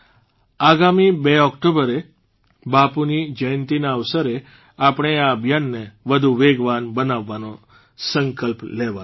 આગામી બે ઓકટોબરે બાપુની જયંતિના અવસરે આપણે આ અભિયાનને વધુ વેગવાન બનાવવાનો સંકલ્પ લેવાનો છે